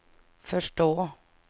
förstå